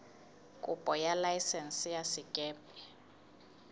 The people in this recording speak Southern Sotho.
kopo ya laesense ya sekepe